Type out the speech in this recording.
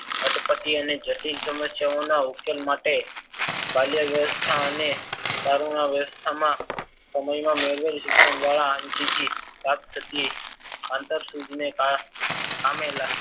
અટપટી અને જટિલ સમસ્યાઓના ઉકેલ માટે બાલ્ય વ્યવસ્થા અને તરુણા વ્યવસ્થામાં સમયમાં મેળવેલ શિક્ષણ દ્વારા આમ જતી પ્રાપ્ત થતી અંતરસૂચને કારણે પામેલા